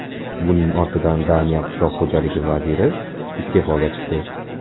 Buning ortidan Daniya qishloq xo‘jaligi vaziri iste’foga chiqdi.